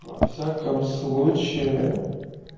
во всяком случае